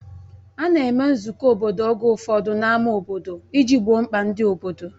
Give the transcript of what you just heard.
A na-eme nzukọ obodo oge ụfọdụ n'ámá obodo iji gboo mkpa ndị obodo.